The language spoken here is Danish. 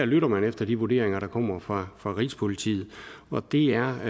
lytter man efter de vurderinger der kommer fra fra rigspolitiet og det er